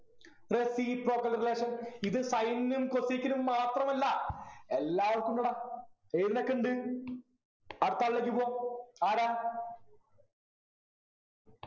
reciprocal relation ഇത് sin നും cosec നും മാത്രമല്ല എല്ലാവർക്കും ഉണ്ടെടാ ഏതിനൊക്കെ ഉണ്ട് അടുത്ത ആളിലേക്ക് പോ ആരാ